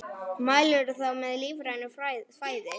Mælirðu þá með lífrænu fæði?